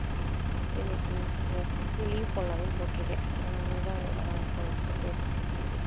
இன்னைக்கு சரி ஒரு நாளைக்கு leave போடலாமேன்னு போட்டுருக்கேன் அஹ் அதனால தான் இப்போ உங்கிட்ட பேச முடிஞ்சிச்சு.